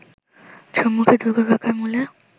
সম্মুখে দুর্গপ্রাকার-মূলে